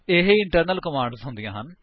ਇਹ internal commands ਹੁੰਦੀਆਂ ਹਨ